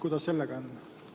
Kuidas nendega lood on?